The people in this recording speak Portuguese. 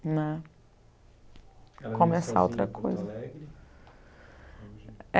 né. Começar outra coisa. Ela vive sozinha em Porto Alegre?